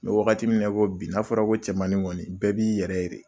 me wagati min na i ko bi n'a fɔra ko cɛmanin kɔni bɛɛ b'i yɛrɛ ye de.